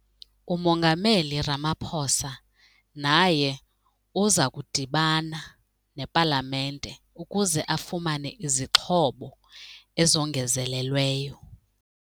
UMongameli Ramaphosa naye uza kudibana nePalamente ukuze afumane izixhobo ezongezelelweyo.